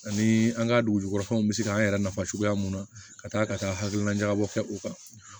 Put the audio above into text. Ani an ka dugu kɔnɔnafɛnw bɛ se k'an yɛrɛ nafa cogoya mun na ka taa ka taa hakilinabɔ kɛ u kan